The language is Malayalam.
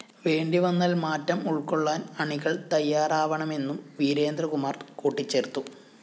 വേണ്ടിവന്നാല്‍ മാറ്റം ഉള്‍ക്കൊള്ളാന്‍ അണികള്‍ തയ്യാറാവണമെന്നും വീരേന്ദ്രകുമാര്‍ കൂട്ടിച്ചേര്‍ത്തു